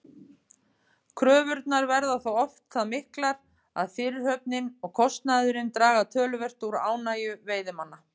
Kröfurnar verða þó oft það miklar að fyrirhöfnin og kostnaðurinn draga töluvert úr ánægju veiðimanna.